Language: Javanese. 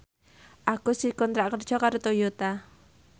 Agus dikontrak kerja karo Toyota